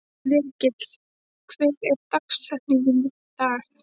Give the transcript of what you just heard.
Virgill, hver er dagsetningin í dag?